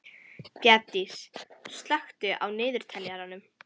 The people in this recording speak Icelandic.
Bjarndís, slökktu á niðurteljaranum.